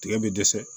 Tigɛ bɛ dɛsɛ